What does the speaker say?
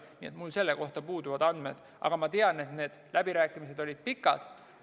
Mul puuduvad selle kohta andmed, aga ma tean, et need läbirääkimised olid pikad.